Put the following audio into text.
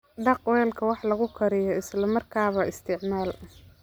Dhaq weelka wax lagu kariyo isla markaaba isticmaal.